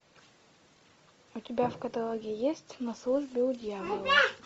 у тебя в каталоге есть на службе у дьявола